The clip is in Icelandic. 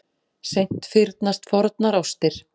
Seint fyrnast fornar ástir.